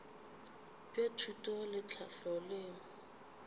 bja thuto le tlhahlo leo